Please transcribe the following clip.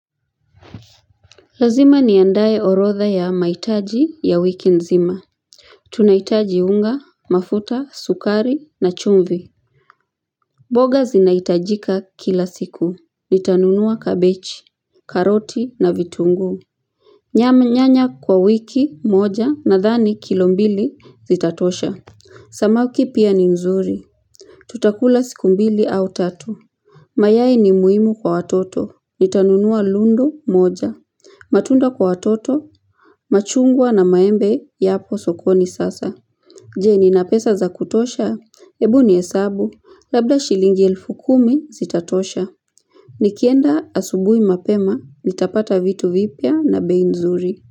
Lazima niandaye orodha ya maitaji ya wiki nzima. Tunaitaji unga, mafuta, sukari na chumvi. Boga zinaitajika kila siku. Nitanunua kabechi, karoti na vitungu. Nyanya kwa wiki moja nadhani kilo mbili zitatosha. Samaki pia ni nzuri. Tutakula siku mbili au tatu. Mayai ni muhimu kwa atoto. Nitanunua lundo moja. Matunda kwa atoto. Machungwa na maembe yapo sokoni sasa Je nina pesa za kutosha? Ebu ni hesabu Labda shilingi elfu kumi zitatosha Nikienda asubui mapema nitapata vitu vipya na bei nzuri.